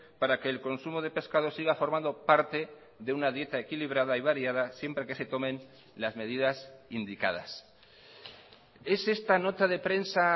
para que el consumo de pescado siga formando parte de una dieta equilibrada y variada siempre que se tomen las medidas indicadas es esta nota de prensa